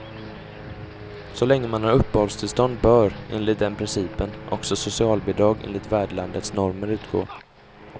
Så länge man har uppehållstillstånd bör, enligt den principen, också socialbidrag enligt värdlandets normer utgå.